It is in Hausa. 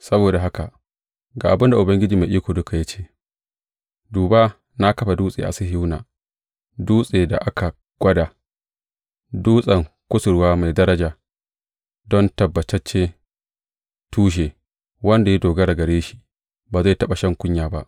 Saboda haka ga abin da Ubangiji Mai Iko Duka ya ce, Duba, na kafa dutse a Sihiyona, dutsen da aka gwada, dutsen kusurwa mai daraja don tabbataccen tushe; wanda ya dogara gare shi ba zai taɓa shan kunya ba.